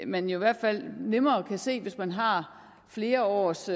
man jo i hvert fald nemmere kan se hvis man har flere års